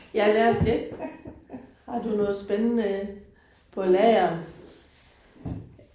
Ja lad os det. Har du noget spændende på lager?